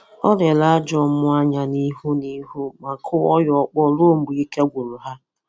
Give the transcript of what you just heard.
ọ lere ajọ mmụọ anya ihụ na ihụ ma kụọ ya ọkpọ ruo mgbe ike agwụrụ ha.